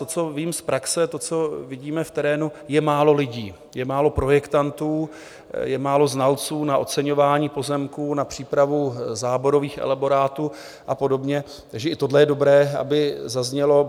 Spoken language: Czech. To, co vím z praxe, to, co vidíme v terénu, je málo lidí, je málo projektantů, je málo znalců na oceňování pozemků, na přípravu záborových elaborátů a podobně, takže i tohle je dobré, aby zaznělo.